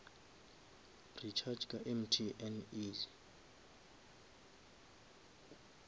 recharga ka mtn easy